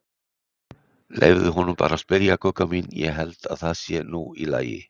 Leyfðu honum bara að spyrja, Gugga mín, ég held að það sé nú í lagi.